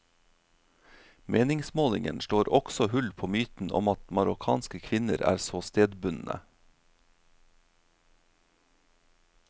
Meningsmålingen slår også hull på myten om at marokkanske kvinner er så stedbundne.